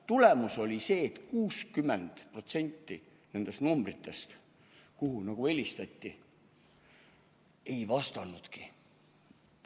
Tulemus oli see, et 60% nendest numbritest, kuhu helistati, ei vastanudki.